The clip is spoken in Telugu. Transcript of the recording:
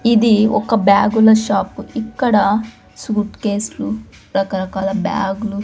ఇది ఒక బ్యాగుల షాపు ఇక్కడ సూట్కేస్ లు రకరకాల బ్యాగ్ లు--